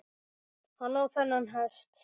Hann á þennan hest.